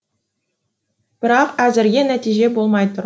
бірақ әзірге нәтиже болмай тұр